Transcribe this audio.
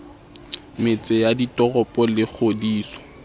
metse ya ditoropo le kgodiso